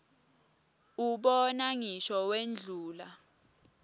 ubona ngisho wendlula